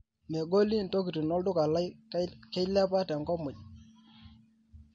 megoli ntokitin olduka lai keilepa tenkop muuj